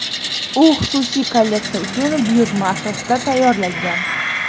U xususiy kolleksiya uchun buyurtma asosida tayyorlangan.